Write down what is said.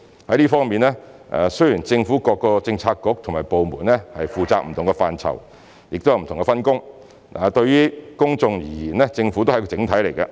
在這方面，雖然政府各政策局和部門負責不同的範疇，有不同的分工，但對於公眾而言，政府是一個整體。